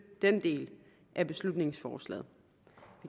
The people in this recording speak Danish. den del af beslutningsforslaget